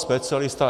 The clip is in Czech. Specialista...